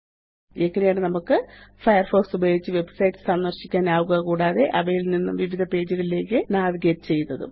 ഇങ്ങനെയാണ് നമുക്ക് ഫയർഫോക്സ് ഉപയോഗിച്ച് വെബ്സൈറ്റ്സ് സന്ദര്ശിക്കാനാവുക കൂടാതെ അവയിൽ നിന്ന് വിവിധ പേജുകളിലേയ്ക്ക് നാവിഗേറ്റ് ചെയ്യുന്നതും